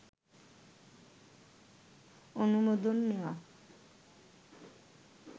অনুমোদন নেয়া